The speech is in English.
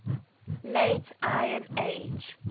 late iron age